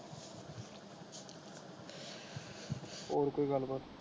ਹੋਰ ਕੋਈ ਗੱਲ ਬਾਤ।